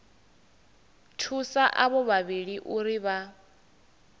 thusa avho vhavhili uri vha